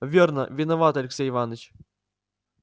верно виноват алексей иваныч